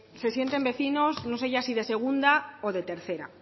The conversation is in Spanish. se sienten vecinos no se ya si de segunda o de tercera